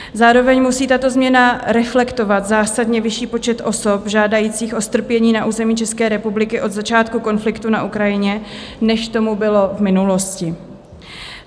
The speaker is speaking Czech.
Zároveň musí tato změna reflektovat zásadně vyšší počet osob žádajících o strpění na území České republiky od začátku konfliktu na Ukrajině, než tomu bylo v minulosti.